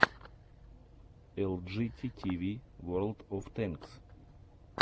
элджити тиви ворлд оф тэнкс